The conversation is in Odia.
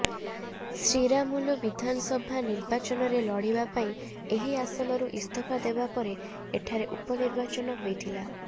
ଶ୍ରୀରାମୁଲୁ ବିଧାନସଭା ନିର୍ବାଚନରେ ଲଢିବା ପାଇଁ ଏହି ଆସନରୁ ଇସ୍ତଫା ଦେବା ପରେ ଏଠାରେ ଉପନିର୍ବାଚନ ହୋଇଥିଲା